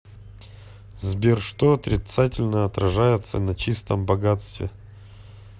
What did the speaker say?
сбер что отрицательно отражается на чистом богатстве